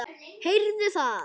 Heyrðu það!